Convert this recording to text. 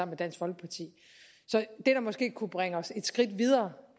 med dansk folkeparti det der måske kunne bringe os et skridt videre